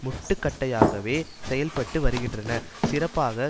முட்டுக்கட்டையாகவே செயல்பட்டு வருகின்றன சிறப்பாக